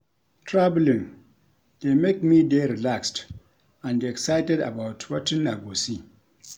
Traveling dey make me dey relaxed and excited about wetin I go see.